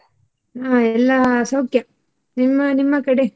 ಹಾ ಎಲ್ಲ ಸೌಖ್ಯ. ನಿಮ್ಮ ನಿಮ್ಮ ಕಡೆ?